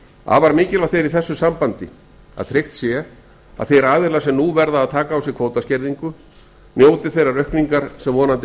afar mikilvægt er í vissu sambandi að tryggt sé að þeir aðilar sem nú verða að taka á sig kvótaskerðingu njóti þeirrar aukningar sem vonandi